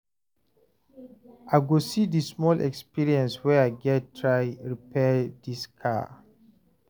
I go use di small experience wey I get try repair dis car